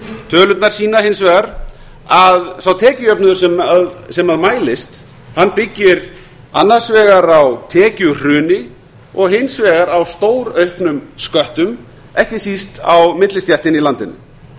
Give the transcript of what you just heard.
tölurnar sýna hins vegar að sá tekjujöfnuður sem mælist byggir annars vegar á tekjuhruni og hins vegar á stórauknum sköttum ekki síst á millistéttinni í landinu